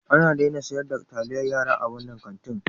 An daina sayar da taliyar yara a wannan kantin.